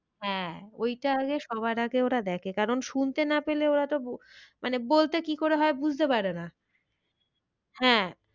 হ্যাঁ ওইটা আগে সবার আগে ওরা দেখে কারণ শুনতে না পেলে ওরা তো মানে বলতে কি করে হয় বুঝতে পারে না। হ্যাঁ,